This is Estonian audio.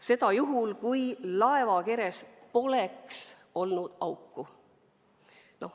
Seda juhul, kui laevakeres poleks olnud auku.